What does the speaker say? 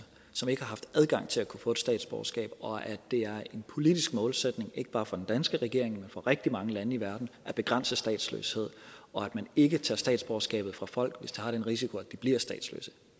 som ikke har haft adgang til at kunne få et statsborgerskab og at det er en politisk målsætning ikke bare for den danske regering men for rigtig mange lande i verden at begrænse statsløshed og at man ikke tager statsborgerskabet fra folk hvis det har den risiko at de bliver statsløse